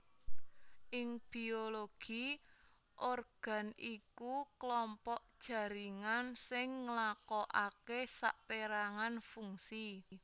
Ing biologi organ iku klompok jaringan sing nglakoaké sapérangan fungsi